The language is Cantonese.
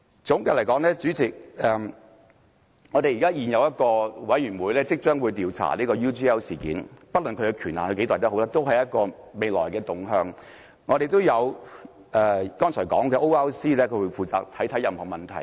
總括而言，代理主席，我們會成立一個委員會調查 UGL 事件，不論其權限有多大，這都是一個未來的方向；我們亦有剛才說的 ORC 會負責審視任何問題。